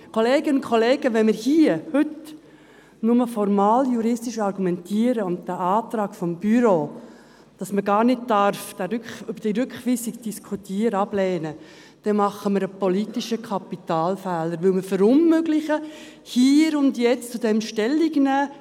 Kolleginnen und Kollegen, wenn wir hier heute nur formaljuristisch argumentieren und den Antrag des Büros, wonach man über diese Rückweisung gar nicht diskutieren darf, ablehnen, dann machen wir einen politischen Kapitalfehler, weil wir verunmöglichen, hier und jetzt dazu Stellung zu nehmen.